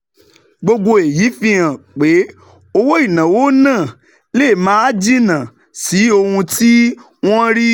Gbogbo èyí fi hàn pé owó ìnáwó náà lè máa jìnnà sí ohun tí wọ́n ń